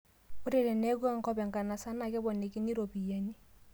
Ore teneeku enkop enkanasa na keponikini ropiyiani